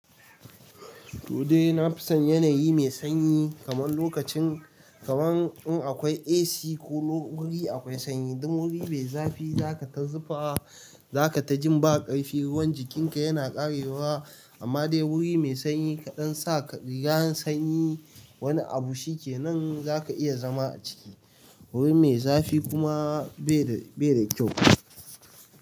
To dai na fi son yanayi mai sanyi kaman lokacin kaman in akwai AC ko wuri akwai sanyi, dun wuri mai zafi zaka ta zufa, zaka ta jin ba ƙarfi, ruwan jikinka yana ƙarewa. Amma dai wuri mai sanyi kaɗan sa ka rigar sanyi wani abu shikenan zaka iya zama a ciki. Wuri mai zafi kuma bai da, bai da kyau.